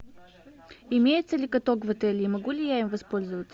имеется ли каток в отеле и могу ли я им воспользоваться